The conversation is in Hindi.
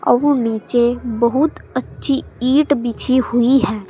वो नीचे बहुत अच्छी ईंट बिछी हुई है।